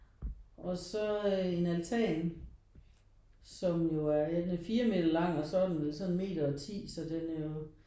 Og så en altan som jo er ja den er 4 meter lang og så er den vel sådan 1 meter og 10